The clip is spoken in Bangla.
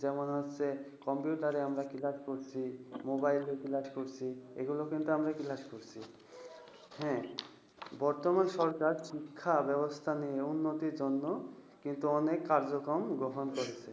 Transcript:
যেমন হচ্ছে, computer রে আমরা class করছি, mobile লে class করছি। এগুলোতে কিন্তু আমরা class করেছি। হ্যাঁ, বর্তমান সরকার শিক্ষাব্যবস্থা নিয়ে উন্নতির জন্য কিন্তু অনেক কার্যক্রম গ্রহণ করেছে।